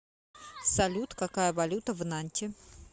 салют какая валюта в нанте